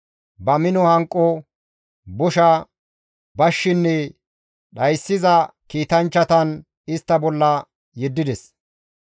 Ba mino hanqo, bosha, bashshinne dhayssiza kiitanchchatan istta bolla yeddides.